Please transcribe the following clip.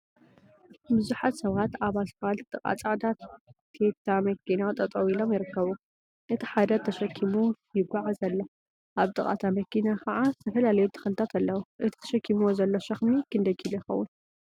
ቡዙሓት ሰባት አብ እስፓልት ጥቃ ፃዕዳ ቴታ መኪና ጠጠው ኢሎም ይርከቡ፡፡ እቲ ሓደ ተሸኺሙ ይጓዓዝ አሎ፡፡ አብ ጥቃ እታ መኪና ከዓ ዝተፈላለዩ ተክሊታት አለው፡፡ እቲ ተሸኪሙዎ ዘሎ ሸክሚ ክንደይ ኪሎ ይኸውን?